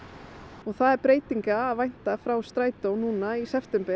og það er breytinga að vænta frá Strætó núna í september